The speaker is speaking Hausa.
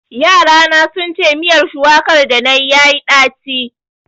Yarana sun ce miyar shuwakar danayi yayi ɗaci.